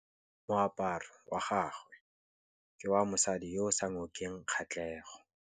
Moaparô wa gagwe ke wa mosadi yo o sa ngôkeng kgatlhegô.